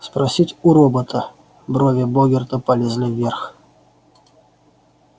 спросить у робота брови богерта полезли вверх